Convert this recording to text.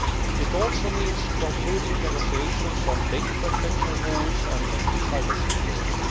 It also means concluding negotiations on data protection rules and cyber security.